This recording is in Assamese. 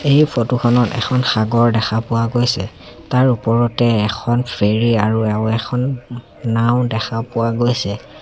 এই ফটো খনত এখন সাগৰ দেখা পোৱা গৈছে তাৰ ওপৰতে এখন ফেৰী আৰু এখন নাওঁ দেখা পোৱা গৈছে।